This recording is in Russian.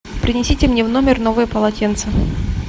принесите мне в номер новое полотенце